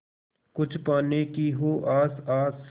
कुछ पाने की हो आस आस